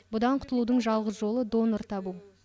бұдан құтылудың жалғыз жолы донор табу